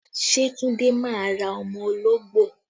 Ṣé Tunde máa ra ọmọ ológbò?